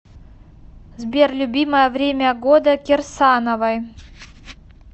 сбер любимое время года кирсановой